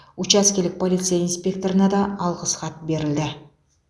учаскелік полиция инспекторына да алғыс хат берілді